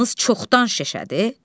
Qulağınız çoxdan şişədi.